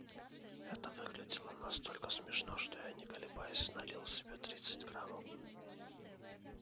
это выглядело настолько смешно что я не колеблясь налил себе тридцать граммов